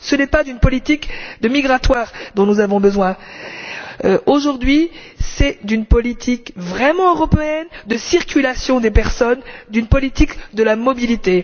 Ce n'est pas d'une politique migratoire dont nous avons besoin, aujourd'hui, mais d'une politique vraiment européenne de circulation des personnes, d'une politique de la mobilité.